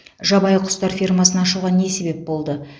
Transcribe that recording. жабайы құстар фермасын ашуға не себеп болды